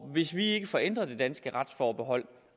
hvis vi ikke får ændret det danske retsforbehold